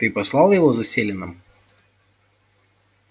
ты послал его за селеном